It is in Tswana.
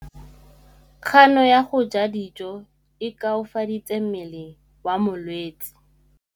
Kganô ya go ja dijo e koafaditse mmele wa molwetse.